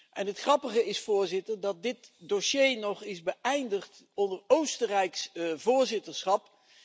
En het grappige is, voorzitter, dat dit dossier nog is beëindigd onder Oostenrijks voorzitterschap.